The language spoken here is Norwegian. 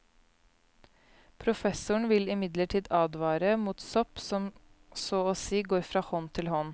Professoren vil imidlertid advare mot sopp som så å si går fra hånd til hånd.